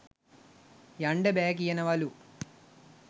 යන්ඩ බෑ කියනවලු.